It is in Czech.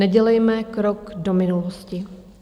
Nedělejme krok do minulosti.